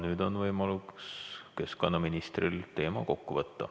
Nüüd on võimalus keskkonnaministril teema kokku võtta.